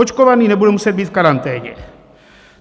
Očkovaný nebude muset být v karanténě.